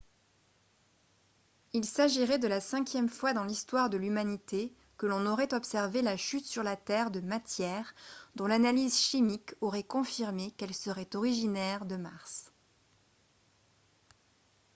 il s'agirait de la cinquième fois dans l'histoire de l'humanité que l'on aurait observé la chute sur la terre de matières dont l'analyse chimique aurait confirmé qu'elles seraient originaires de mars